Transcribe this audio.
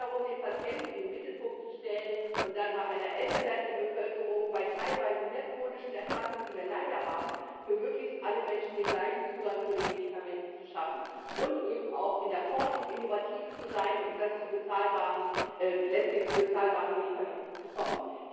Es geht darum, den Patienten in den Mittelpunkt zu stellen und dann bei einer älter werdenden Bevölkerung, bei teilweise mehr chronischen Erkrankungen, die wir leider haben, für möglichst alle Menschen den gleichen Zugang zu den Medikamenten zu schaffen und eben auch in der Forschung innovativ zu sein und letztlich zu bezahlbaren Medikamenten zu kommen.